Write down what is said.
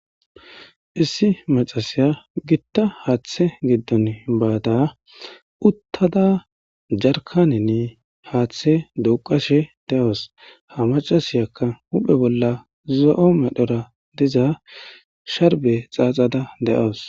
Issi maccesiya githa haaththee giddoni baada uththada jarkkaaneni haaththee duuqqashe de7awus; ha maccasiyakka huuphe bolla zo7o medhora diza sharbbe tsaatsada de7awus.